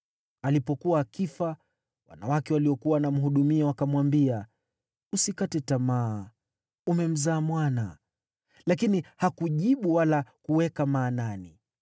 Alipokuwa akifa, wanawake waliokuwa wanamhudumia wakamwambia, “Usikate tamaa, umemzaa mwana.” Lakini hakujibu wala kuweka maanani.